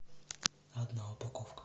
одна упаковка